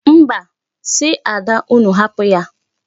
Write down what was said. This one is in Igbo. Mba, si Ada unu hapụ ya.